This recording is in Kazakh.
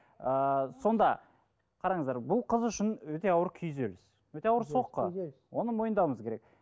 ыыы сонда қараңыздар бұл қыз үшін өте ауыр күйзеліс өте ауыр соққы оны мойындауымыз керек